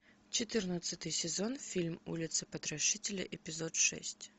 четырнадцатый сезон фильм улица потрошителя эпизод шесть